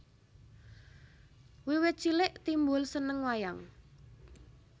Wiwit cilik Timbul seneng wayang